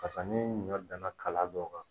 Pasa ni ɲɔ dan na kala dɔw kan